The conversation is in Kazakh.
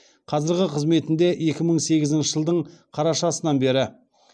қазіргі қызметінде екі мың сегізінші жылдың қарашасынан бері